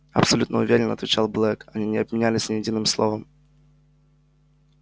абсолютно уверен отвечал блэк они не обменялись ни единым словом